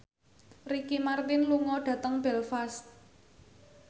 Ricky Martin lunga dhateng Belfast